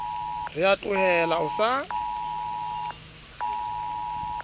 ra o tlohela o sa